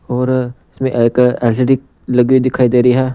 और इसमें एक एल_सी_डी लगी दिखाई दे रही है।